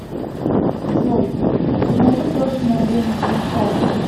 джой покажи точное время сейчас